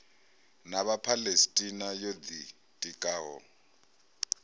na vhaphalestina yo ḓi tikaho